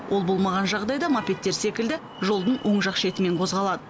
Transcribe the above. ол болмаған жағдайда мопедтер секілді жолдың оң жақ шетімен қозғалады